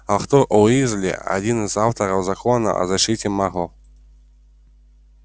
артур уизли один из авторов закона о защите маглов